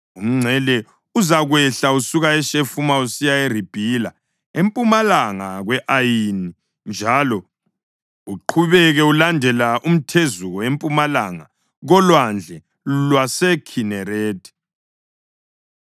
Umngcele uzakwehla usuka eShefamu usiya eRibhila engempumalanga kwe-Ayini njalo uqhubeke ulandela umthezuko empumalanga koLwandle lwaseKhinerethi.